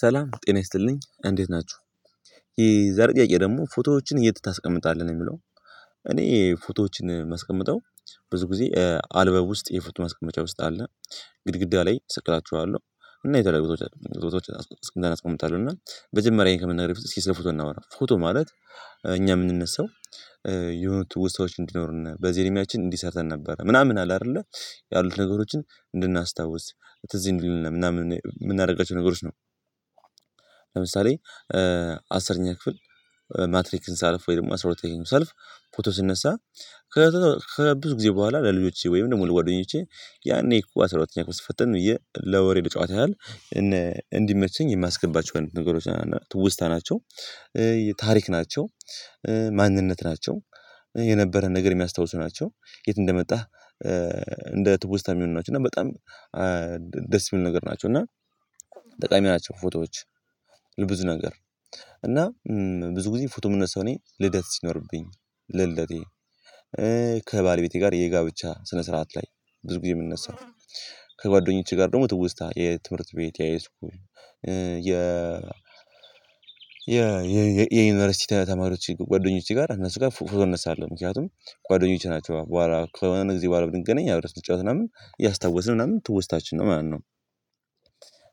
ሰላም ጤና ይስጥልኝ እንዴት ናችሁ የዛሬ ጥያቄ ደግሞ ፎቶዎችን እየት ታስቀመጣለህ ነው የሚለው? እኔ ፎቶዎችን የማስቀምጠው ብዙ ጊዜ አልበም ውስጥ የፎቶ ማስቀመጫ ውስጥ አለ። ግድግዳ ላይ ስቅላቸዋለሁ እና የተለያዩ ቦታዎች አስቀምጣለሁ እና መጀመሪያ ይህን ከመናገሬ በፊት እስኪ ስለ ፎቶ እናወራ ፎቶ ማለት እኛ የምንነሳው። የሆኑ ትውስታዎች እንዲኖሩን በዚ እድሜያችን እንዲ ሰርተን ነበረ ምናምን አለ አይደለ ያሉት ነገሮችን እንድናስታውስ ትዝ እንዲለን ምናምን የምናደርጋቸው ነገሮች ነው። ለምሳሌ አስረኛ ክፍል ማትሪክን ሳልፍ ወይ ደግሞ አስራ ሁለተኛን ሳልፍ ፎቶ ሲነሳ። ከብዙ ጊዜ በኋላ ለልጆቼ ወይም ደግሞ ለጓደኞቼ ያኔ እኮ አስራ ሁለተኛ ክፍል ስትፈትን ብዬ ለወሬ ለጨዋታ ያህል እንዲመቸኝ የማስገባቸውን ነገሮች ትውስታ ናቸው። ታሪክ ናቸው ማንነት ናቸው የነበረን ነገር የሚያስታውሱ ናቸው ከየት እንደመጣህ። እንደ ትውስታ የሚሆኑ ናቸው እና በጣም ደስ የሚሉ ነገር ናቸው። እና ጠቃሚ ናቸው ፎቶዎች ለብዙ ነገር። እና ብዙ ጊዜ ፎቶ የምነሳው እኔ ልደት ሲኖርብኝ ለልደቴ ከባለቤቴ ጋር የጋብቻ ስነ ስርዓት ላይ ብዙ ጊዜ የምነሳው። ከጓደኞቼ ጋር ደግሞ ትውስታ የትምህርት ቤት የሃይስኩል የዩኒቨርሲቲ ተማሪዎች ጓደኞቼ ጋር እነሱ ጋር ፎቶ እነሳለሁ ምክንያቱም ጓደኞቼ ናቸዋ በኋላ ከሆነ ጊዜ በኋላ ብንገናኝ አብረህ ስትጫወት ምናምን እያስታወስን ምናምን ትውስታችን ነው ማለት ነው።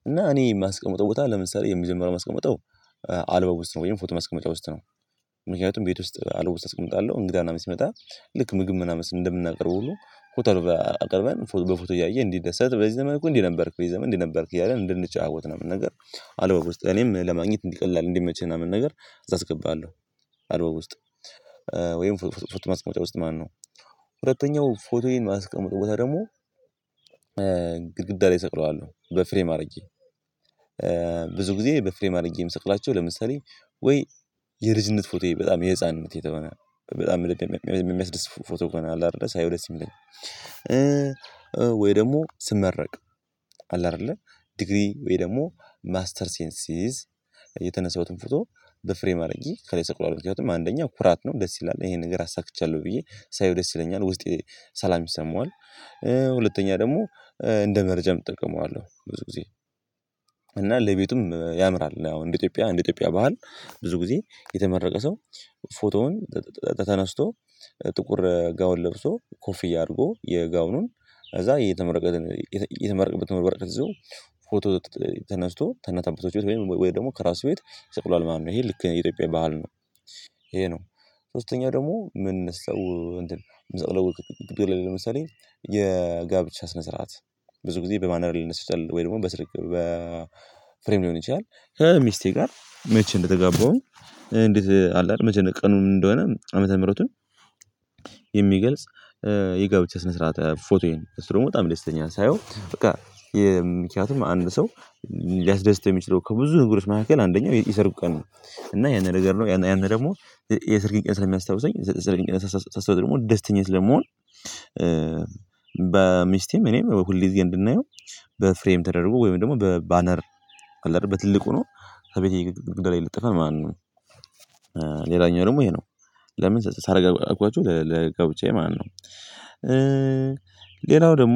እና እኔ የማስቀምጠው ቦታ ለምሳሌ የሚጀመሪያው ማስቀምጠው አልበም ውስጥ ነው ወይም ፎቶ ማስቀመጫ ውስጥ ነው። ምክንያቱም ቤት ውስጥ አልበም ውስጥ አስቀምጣለሁ እንግዳ ምናምን ሲመጣ ልክ ምግብ ምናምን እንደምናቀርበው ሁሉ ፎቶ አልበም አቅርበን በፎቶ እያየ እንዲደሰት በዚህ ዘመን እንዲህ ነበርክ በዚህ ዘመን እንዲህ ነበርክ እያለ እንድንጫወት ምናምን ነገር አልበም ውስጥ ለኔም ለማግኘት እንዲቀላል እንዲመችኝ ምናምን ነገር እዛ አስገባለሁ። አልበም ውስጥ ወይም ፎቶ ማስቀመጫ ውስጥ ማለት ነው። ሁለተኛው ፎቶዬን ማስቀምጠው ቦታ ደግሞ ግድግዳ ላይ እሰቅለዋለሁ በፍሬም አድርጌ። ብዙ ጊዜ በፍሬም አድርጌ የምሰቅላቸው ለምሳሌ ወይ የልጅነት ፎቶዬ በጣም የህፃንነት የሆነ በጣም የሚያስደስት ፎቶ ከሆነ አለ አይደለ ሳየው ደስ የሚለኝ። ወይ ደግሞ ስመረቅ አለ አይደለ ዲግሪ ወይ ደግሞ ማስተርሴን ስይዝ የተነሳሁትን ፎቶ በፍሬም አድርጌ ከላይ ሰቅለዋለው ምክንያቱም አንደኛ ኩራት ነው ደስ ይላል ይሄን ነገር አሳክቻለሁ ብዬ ሳየው ደስ ይለኛል ውስጤ ሰላም ይሰማዋል። ሁለተኛ ደግሞ እንደ መረጃም እጠቀመዋለሁ ብዙ ጊዜ። እና ለቤቱም ያምራል አሁን እንደ ኢትዮጵያ እንደ ኢትዮጵያ ባህል ብዙ ጊዜ የተመረቀ ሰው ፎቶውን ተነስቶ ጥቁር ጋውን ለብሶ ኮፍያ አድርጎ የጋውኑን ከዛ የተመረቀበትን የተመረቀበትን ወረቀት ይዞ ፎቶ ተነስቶ ከእናት ከአባቶቹ ቤት ወይም ወይ ደግሞ ከራሱ ቤት ይስቅለዋል ማለት ነው ይሄ ልክ ነው የኢትዮጵያ ባህል ነው። ይሄ ነው። ሶስተኛው ደግሞ ምን ሰው እንትን ምንሰቅለው ለምሳሌ የጋብቻ ስነ ስርዓት ብዙ ጊዜ በባነር ሊነሳ ይችላል ወይ ደግሞ በፍሬም ሊሆን ይችላል። ከሚስቴ ጋር መቼ እንደተጋባውም እንዴት አለ አይደል መቼ ቀኑ እንደሆነ ዓመተ ምህረቱን። የሚገልጽ የጋብቻ ስነ ስርዓት ፎቶዬን እሱ ደግሞ በጣም ደስ ይለኛል ሳየው በቃ። ምክንያቱም አንድ ሰው ሊያስደስተው የሚችለው ከብዙ ነገሮች መሃከል አንደኛው የሰርጉ ቀን ነው እና ያን ያረጋል ማለት ነው። ያንን ደግሞ የሰርጌን ቀን ስለሚያስታውሰኝ የሰርጌን ቀን ሳስታውሰው ደግሞ ደስተኛ ስለምሆን። በሚስቴም እኔም ሁል ጊዜ እንድናየው በፍሬም ተደርጎ ወይም ደግሞ በባነር አለ እደል በትልቁ ሆኖ ከቤቴ ግድግዳ ላይ ይለጠፋል ማለት ነው። ሌላኛው ደግሞ ይሄ ነው ለምን ሳረገው አልኳችሁ ለጋብቻዬ ማለት ነው። ሌላው ደግሞ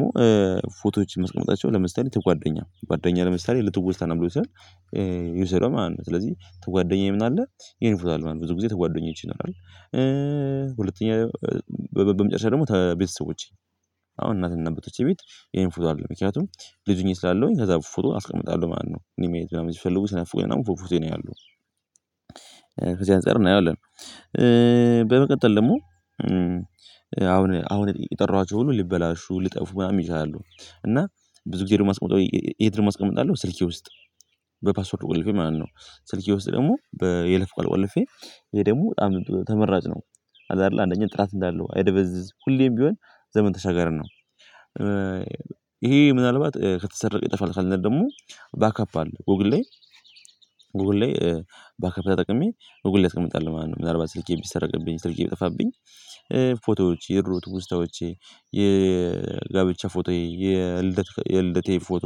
ፎቶዎች የማስቀምጣቸው ለምሳሌ የጓደኛ ጓደኛ ለምሳሌ ለትውስታ ነገሮች ሲሆን። ይውስደው ማለት ነው ስለዚህ ከጓደኛዬ ምን አለ የኔ ፎቶ አለ ማለት ነው ብዙ ጊዜ ተጓደኞች ይኖራል። ሁለተኛ በመጨረሻ ደግሞ ቤተሰቦቼ አሁን እናት እና አባቶቼ ቤት የኔ ፎቶ አለ ምክንያቱም ልጅ ሆኜ ስላለውኝ ከዛ ፎቶ አስቀምጣለሁ ማነው እኔን ማየት ምናምን ሲፈልጉ ሲናፍቁኝ ምናምን ፎቶዬን ያያሉ። ከዚህ አንፃር እናየዋለን። በመቀጠል ደግሞ አሁን አሁን የጠራኋቸው ሁሉ ሊበላሹ ሊጠፉ ምናምን ይችላሉ። እና ብዙ ጊዜ ደግሞ ማስቀምጠው የት ደሞ አስቀምጣለው ስልኬ ውስጥ በፓስወርድ ቆልፌ ማለት ነው። ስልኬ ውስጥ ደግሞ በይለፍ ቃል ቆልፌ ይሄ ደግሞ በጣም ተመራጭ ነው። አለ አይደለ አንደኛ ጥራት እንዳለው አይደበዝዝ ሁሌም ቢሆን ዘመን ተሻጋሪ ነው። ይሄ ምናልባት ከተሰረቀ ይጠፋል ካልን ደግሞ ባክአፕ አለ ጎግል ላይ። ጎግል ላይ ባክአፕ ተጠቅሜ ጎግል ላይ አስቀምጣለው ማለት ነው። ምናልባት ስልኬ ቢሰረቅብኝ ስልኬ ቢጠፋብኝ። ፎቶዎች የድሮ ትውስታዎቼ የጋብቻ ፎቶዬ የልደቴ ፎቶ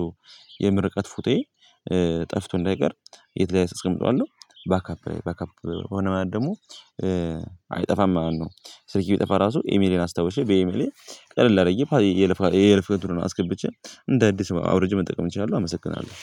የምርቃት ፎቶዬ ጠፍቶ እንዳይቀር የት ላይ አስቀምጠዋለው ባካፕ ባካፕ ሆነ ማለት ደግሞ አይጠፋም ማለት ነው። ስልኬ ቢጠፋ ራሱ ኤሚሌን አስታውሼ በኤሚሌ ቀለል አርጌ የይለፍ ቃል የይለፍ እንትኑን አስገብቼ እንደ አዲስ አውርጄ መጠቀም እችላለሁ አመሰግናለሁ።